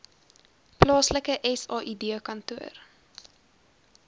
plaaslike said kantoor